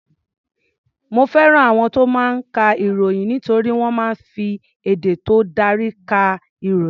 Mo fẹ́ràn àwọn tó máa ń ka ìròyìn nítorí wọ́n máa ń fi èdè tó dári ka ìròyìn.